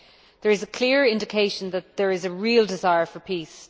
There is a clear indication that there is a real desire for peace.